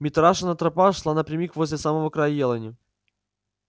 митрашина тропа шла напрямик возле самого края елани